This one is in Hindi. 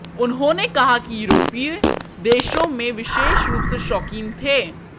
उन्होंने कहा कि यूरोपीय देशों में विशेष रूप से शौकीन थे